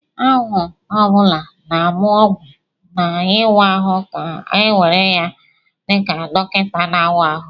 Ahụ ọ bụla na-amụ ọgwụ na ịwa ahụ ka a ga-ewere dị ka dọkịta na-awa ahụ